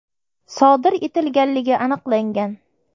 sodir etilganligi aniqlangan.